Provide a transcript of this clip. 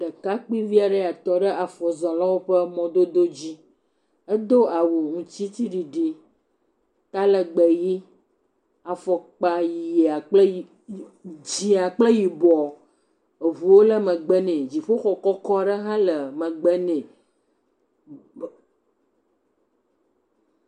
Ɖekakpuivi aɖe ya tɔ ɖe afɔzɔlawo ƒe mɔdodo dzi. Edo awu ŋtsitsiɖiɖi. Talegbe ʋi, afɔkpa ʋia kple yi, dzia kple yibɔ. Eŋuwo le megbe nɛ. Dziƒoxɔ kɔkɔ hã le megbe nɛ.